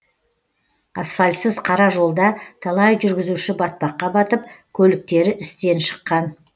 асфальтсыз қара жолда талай жүргізуші батпаққа батып көліктері істен шыққан